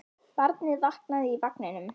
Barnið vaknaði í vagninum.